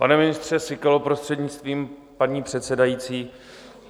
Pane ministře Síkelo, prostřednictvím paní předsedající.